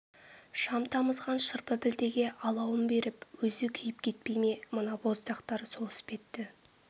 шам тамызған шырпы пілтеге алауын беріп өзі күйіп кетпей ме мына боздақтар сол іспетті